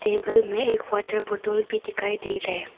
Table में एक water बोतल भी दिखाई दे रहे हैं।